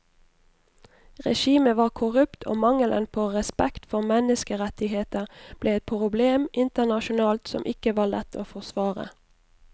Regimet var korrupt og mangelen på respekt for menneskerettigheter ble et problem internasjonalt som ikke var lett å forsvare.